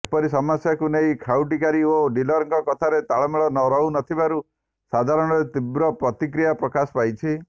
ଏପରି ସମସ୍ୟାକୁ ନେଇ ଖାଉଟିଧିକାରୀ ଓ ଡିଲରଙ୍କ କଥାରେ ତାଳମେଳ ରହୁନଥିବାରୁ ସାଧାରଣରେ ତିବ୍ର ପ୍ରତିକ୍ରିୟା ପ୍ରକାଶ ପାଇଛି